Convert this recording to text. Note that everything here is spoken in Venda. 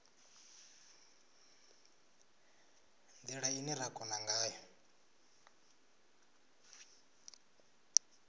ndila ine ra kona ngayo